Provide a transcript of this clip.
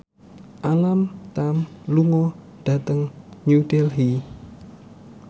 Alam Tam lunga dhateng New Delhi